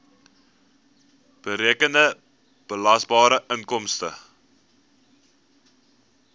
berekende belasbare inkomste